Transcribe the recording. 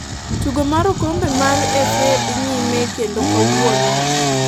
tugo mar okombe mar FA dhi nyime kendo kawuono